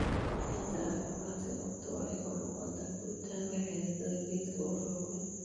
Ciidda caafimaadka qabta waxay kor u qaadaa koritaanka xididdada geedka oo xooggan.